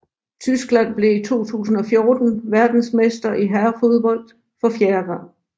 Tyskland blev i 2014 verdensmester i herrefodbold for fjerde gang